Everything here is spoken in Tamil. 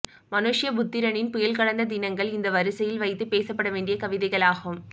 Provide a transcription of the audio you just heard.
மனுஷ்யபுத்திரனின் புயல் கடந்த தினங்கள் இந்த வரிசையில் வைத்து பேசவேண்டிய கவிதைகளாகும்